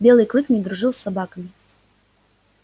белый клык не дружил с собаками